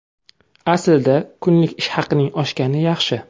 Aslida kunlik ish haqining oshgani yaxshi.